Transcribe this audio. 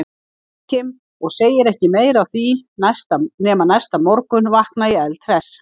Jóakim, og segir ekki meira af því, nema næsta morgun vakna ég eldhress.